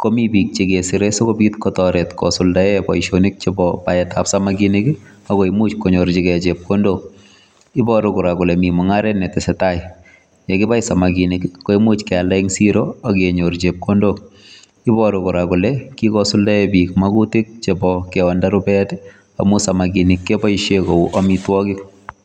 komii biik che kesire sikobiit kosuldaen boisiet ab baet ab samakinik ako imuuch koinyorjigei chepkondook iboruu kora kole Mii mungaret ne tesetai ye kibai samakinik ko imuuch keyalda en siro ak kenyoor chepkondook iboruu kora kole kikosuldaen biik magutiik akoot nda rupeet amuun samakinik kebaisheen koek amitwagiik.